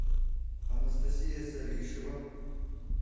анастасия салишева